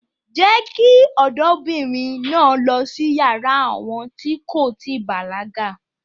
Jé kí ọ̀dọ́mobìnrìn náà lọ́ sí yàrá àwọn tí kò tíì bàlágà